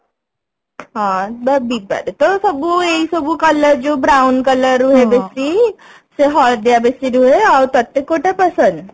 ହଁ ବିବାରେ ତ ସବୁ ଏଇ ସବୁ colour ଯୋଉ brown colour ରୁହେ ବେଶୀ ସେ ହଳଦିଆ ବେଶୀ ରୁହେ ଆଉ ତତେ କୋଉଟା ପସନ୍ଦ